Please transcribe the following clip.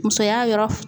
Musoya yɔrɔ f